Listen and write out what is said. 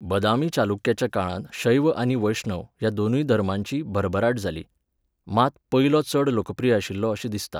बदामी चालुक्याच्या काळांत शैव आनी वैष्णव ह्या दोनूय धर्मांची भरभराट जाली, मात पयलो चड लोकप्रिय आशिल्लो अशें दिसता.